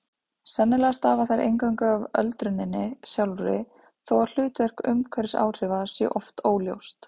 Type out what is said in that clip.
Sennilega stafa þær eingöngu af öldruninni sjálfri þó að hlutverk umhverfisáhrifa sé oft óljóst.